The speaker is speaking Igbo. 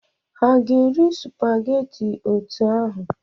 Ha ga-eri supageti otú ahụ?